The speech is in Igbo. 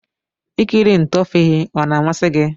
Ikiri ntoovhi ọna amasi gi?